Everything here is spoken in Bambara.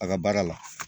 A ka baara la